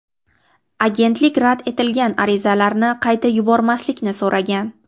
Agentlik rad etilgan arizalarni qayta yubormaslikni so‘ragan.